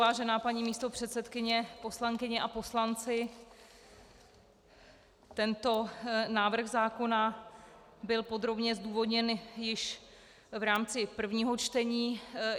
Vážená paní místopředsedkyně, poslankyně a poslanci, tento návrh zákona byl podrobně zdůvodněn již v rámci prvního čtení.